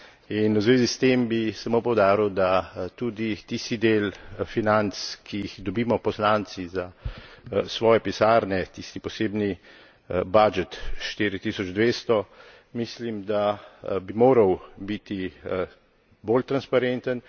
In v zvezi s tem bi samo poudaril, da tudi tisti del financ, ki jih dobimo poslanci za svoje pisarne, tisti posebni budget 4200, mislim, da bi moral biti bolj transparenten.